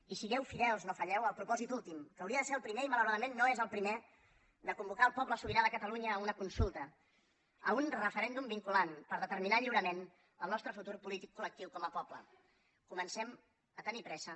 i sigueu fidels no falleu al propòsit últim que hauria de ser el primer i malauradament no és el primer de convocar el poble sobirà de catalunya a una consulta a un referèndum vinculant per determinar lliurament el nostre futur polític col·a tenir presa